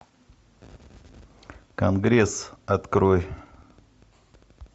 конгресс открой